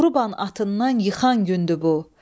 Vuruban atından yıxan gündür bu.